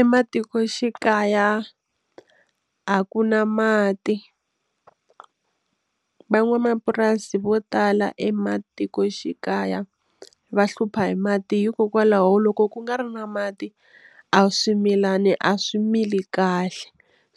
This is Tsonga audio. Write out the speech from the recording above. Ematikoxikaya a ku na mati, van'wamapurasi vo tala ematikoxikaya va hlupha hi mati hikokwalaho loko ku nga ri na mati a swimilani a swi mili kahle